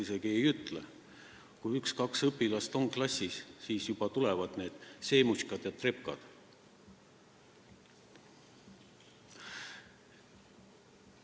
No ma isegi ei ütleks, et massiliselt, aga kui üks-kaks sellist õpilast on klassis, siis juba tulevad need semetško'd ja trjopka'd.